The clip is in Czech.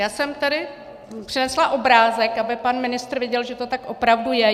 Já jsem tady přinesla obrázek, aby pan ministr viděl, že to tak opravdu je.